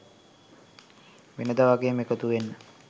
වෙනදා වගේම එකතුවෙන්න